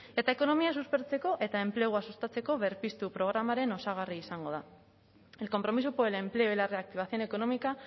eta ekonomia suspertzeko eta enplegua sustatzeko berpiztu programaren osagarri izango da el compromiso por el empleo y la reactivación económica